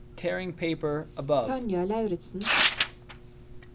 Tanja Lauritsen